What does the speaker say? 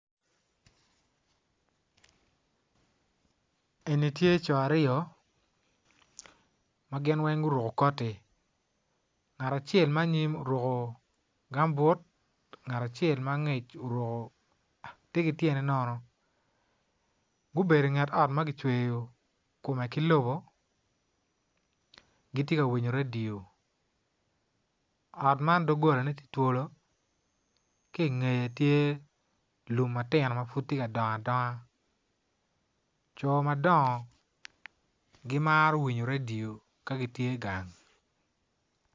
Eni tye co aryo ma gin weng guruko koti ngat acel ma anyim oruko gam but ngat acel ma angec oruko tye ki tyene nono gubedo i nget ot ma kicweyo kome ki lobo gitye ka winyo redio ot man doggolane tye twolo ki i ngeye tye lum ma tino ma pud tye ka dongo adonga co ma dongo gimaro winyo redio ka gitye gang.